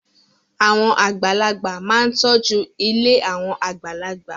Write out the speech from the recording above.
Àwọn àgbàlagbà máa ń tọ́jú ilé àwọn àgbàlagbà.